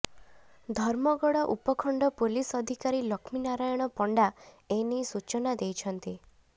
ଧର୍ମଗଡ଼ ଉପଖଣ୍ଡ ପୋଲିସ ଅଧିକାରୀ ଲଷ୍ମୀ ନାରାୟଣ ପଣ୍ଡା ଏନେଇ ସୂଚନା ଦେଇଛନ୍ତି